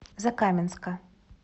закаменска